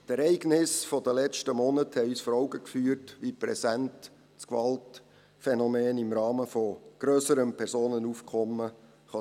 Die Ereignisse der letzten Monate haben uns vor Augen geführt, wie präsent das Gewaltphänomen im Rahmen von grösserem Personenaufkommen sein kann.